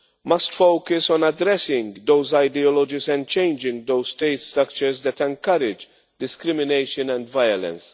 must focus on addressing those ideologies and changing those state structures that encourage discrimination and violence.